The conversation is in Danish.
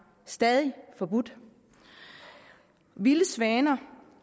stadig forbudt vilde svaner